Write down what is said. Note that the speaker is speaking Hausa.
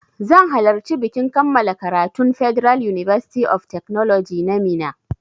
Zan halarci bikin kammala karatun federal university of technology na Minna